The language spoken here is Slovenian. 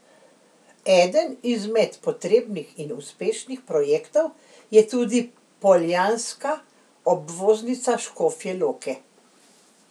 Eden izmed potrebnih in uspešnih projektov je tudi poljanska obvoznica Škofje Loke.